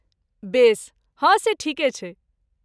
बेस। हँ से ठीके छै।